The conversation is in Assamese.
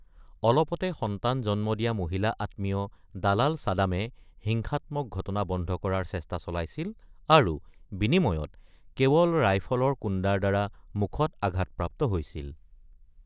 অলপতে সন্তান জন্ম দিয়া মহিলা আত্মীয় দালাল ছাদামে হিংসাত্মক ঘটনা বন্ধ কৰাৰ চেষ্টা চলাইছিল আৰু বিনিময়ত কেৱল ৰাইফলৰ কুন্দাৰ দ্বাৰা মুখত আঘাতপ্ৰাপ্ত হৈছিল।